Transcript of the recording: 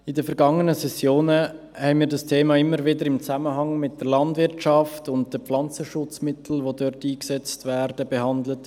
In den vergangenen Sessionen haben wir dieses Thema im Zusammenhang mit der Landwirtschaft und mit den Pflanzenschutzmitteln, die dort eingesetzt werden, immer wieder behandelt.